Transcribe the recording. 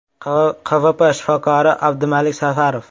QVP shifokori Abdumalik Safarov.